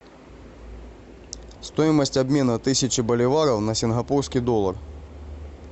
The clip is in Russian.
стоимость обмена тысяча боливаров на сингапурский доллар